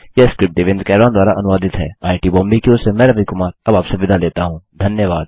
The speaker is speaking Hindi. यह स्क्रिप्ट देवेन्द्र कैरवान द्वारा अनुवादित है आईआईटी बॉम्बे की ओर से मैं रवि कुमार अब आपसे विदा लेता हूँ